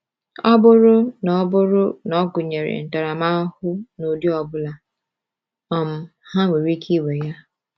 Ọ bụrụ na ọ bụrụ na ọ gụnyere ntaramahụhụ n’ụdị ọ bụla, um ha nwere ike iwe ya.